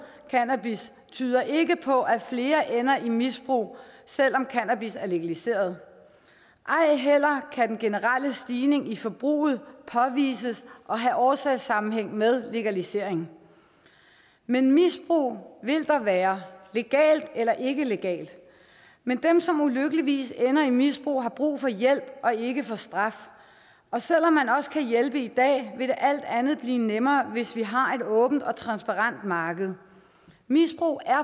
cannabis tyder ikke på at flere ender i misbrug selv om cannabis er legaliseret ej heller kan den generelle stigning i forbruget påvises at have årsagssammenhæng med legalisering men misbrug vil der være legalt eller ikke legalt men dem som ulykkeligvis ender i misbrug har brug for hjælp og ikke for straf og selv om man også kan hjælpe i dag vil det alt andet lige blive nemmere hvis vi har et åbent og transparent marked misbrug er